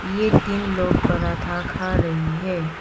ये तीन लोग पराठा खा रही है।